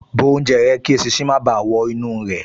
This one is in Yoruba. Bó oúnjẹ rẹ kí eṣinṣin má báà wọ inú rẹ̀